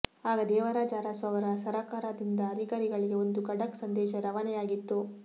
ಆಗ ದೇವರಾಜ ಅರಸು ಅವರ ಸರಕಾರದಿಂದ ಅಧಿಕಾರಿಗಳಿಗೆ ಒಂದು ಖಡಕ್ ಸಂದೇಶ ರವಾನೆಯಾಗಿತ್ತು